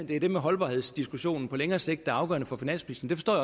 det er det med holdbarhedsdiskussionen på længere sigt der er afgørende for finansministeren